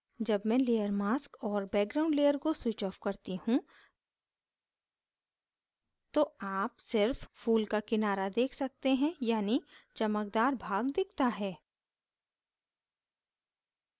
जब मैं layer mask और background layer को switch of करती हूँ तो आप सिर्फ फूल का किनारा देख सकते हैं यानी चमकदार भाग दिखता है